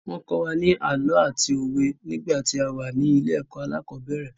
Wọ́n kọ́ wa ní àlọ́ àti òwe nígbà tí a wà ní ilé ẹ̀kọ́ alẹ́kọ̀ọ́bẹ̀rẹ̀.